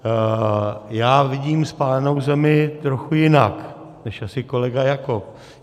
Já vidím spálenou zemi trochu jinak než asi kolega Jakob.